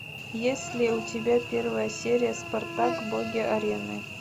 есть ли у тебя первая серия спартак боги арены